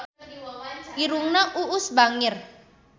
Irungna Uus bangir